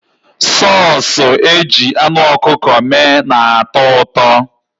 Sọọsụ e ji anụ ọkụkọ mee na-atọ ụtọ.